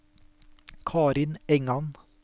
Karin Engan